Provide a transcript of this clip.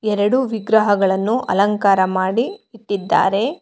ಎರಡು ವಿಗ್ರಹಗಳನ್ನು ಅಲಂಕಾರ ಮಾಡಿ ಇದ್ದಾರೆ.